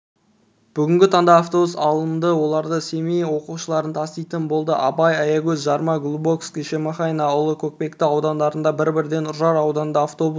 бүгінгі таңда автобус алынды олардың семей оқушыларын таситын болады абай аягөз жарма глубоковский шемонаиха ұлан көкпекті аудандарына бір-бірден үржар ауданына автобус